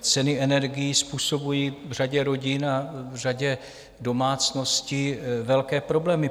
ceny energií způsobují v řadě rodin a v řadě domácností velké problémy.